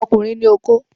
Ọkùnrin ní okó.